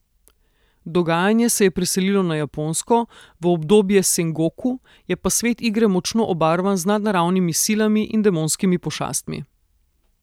Dogajanje se je preselilo na Japonsko, v obdobje Sengoku, je pa svet igre močno obarvan z nadnaravnimi silami in demonskimi pošastmi.